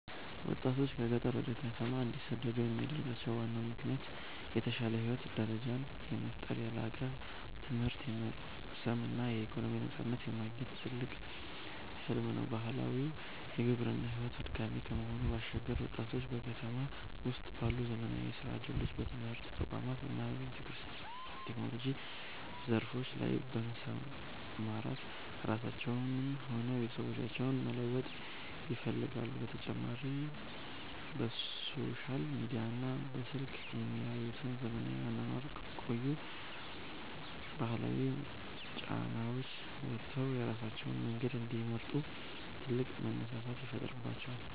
ወጣቶች ከገጠር ወደ ከተማ እንዲሰደዱ የሚያደርጋቸው ዋናው ምክንያት የተሻለ የህይወት ደረጃን የመፍጠር፣ የላቀ ትምህርት የመቅሰም እና የኢኮኖሚ ነፃነትን የማግኘት ትልቅ ህልም ነው። ባህላዊው የግብርና ሕይወት አድካሚ ከመሆኑ ባሻገር፣ ወጣቶች በከተማ ውስጥ ባሉ ዘመናዊ የሥራ ዕድሎች፣ በትምህርት ተቋማት እና በቴክኖሎጂ ዘርፎች ላይ በመሰማራት ራሳቸውንም ሆነ ቤተሰቦቻቸውን መለወጥ ይፈልጋሉ፤ በተጨማሪም በሶሻል ሚዲያና በስልክ የሚያዩት ዘመናዊ አኗኗር ከቆዩ ባህላዊ ጫናዎች ወጥተው የራሳቸውን መንገድ እንዲመርጡ ትልቅ መነሳሳትን ይፈጥርባቸዋል።